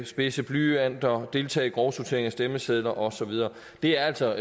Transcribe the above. spidse blyanter deltage i grovsortering af stemmesedler og så videre det er altså